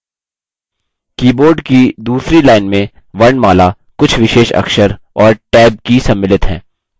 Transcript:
keyboard की दूसरी line में वर्णमाला कुछ विशेष अक्षर और tab की सम्मिलित हैं